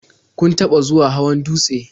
Kun taɓa zuwa hawan dutse?